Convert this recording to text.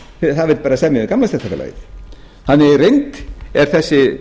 það vill bara semja við gamla stéttarfélagið þannig í reynd þessi